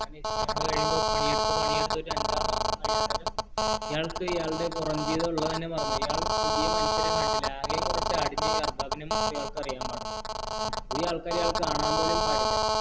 കുറെ കഴിയുമ്പോൾ പണിയെടുത്ത് പണിയെടുത്ത് ഒരു അഞ്ചാറു മാസം കഴിഞ്ഞനേരം ഇയാള്‍ക്ക് ഇയാളുടെ പുറം ജീവിതം ഉള്ളത് തന്നെ മറന്നുപോയി ഇയാള്‍ പുതിയ മനുഷ്യരെ പോലും കണ്ടില്ല ആകെ കുറച്ചു ആടിനെയും ഈ അര്ബബിനെ മാത്രമേ അറിയാന്‍പാടുള്ളൂ